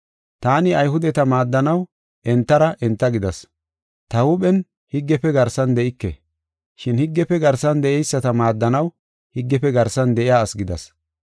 Taani Ayhudeta maaddanaw entara enta gidas. Ta huuphen higgefe garsan de7ike, shin higgefe garsan de7eyisata maaddanaw higgefe garsan de7iya asi gidas.